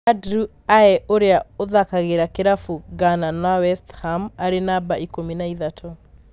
Andre Ayew ũria ũthakagira kĩravũkĩa Ghana na West Ham arĩ numba ikũmi na ithatu.